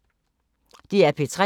DR P3